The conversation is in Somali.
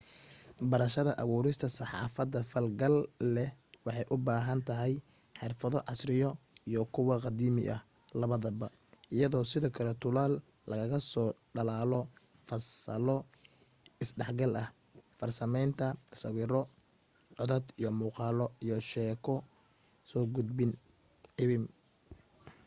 barashada abuurista saxaafad falgal leh waxay u baahan tahay xirfado casriya iyo kuw qadiimi ah labadaba iyo sidoo kale tuulal lagaga soo dhalaalo fasalo is dhexgal ah farsamaynta sawiro codad iyo muuqaalo iyo sheeko soo gudbin iwm.